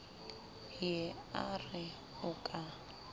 ye a re o ka